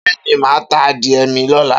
Beeni ma ta adie mi lola.